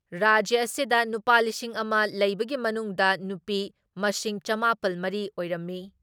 ꯔꯥꯖ꯭ꯌ ꯑꯁꯤꯗ ꯅꯨꯄꯥ ꯂꯤꯁꯤꯡ ꯑꯃ ꯂꯩꯕꯒꯤ ꯃꯅꯨꯡꯗ ꯅꯨꯄꯤ ꯃꯁꯤꯡ ꯆꯃꯥꯄꯜ ꯃꯔꯤ ꯑꯣꯏꯔꯝꯃꯤ ꯫